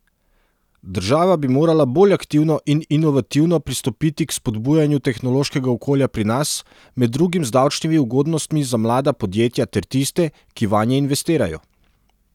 Država bi morala bolj aktivno in inovativno pristopiti k spodbujanju tehnološkega okolja pri nas, med drugim z davčnimi ugodnostmi za mlada podjetja ter tiste, ki vanje investirajo.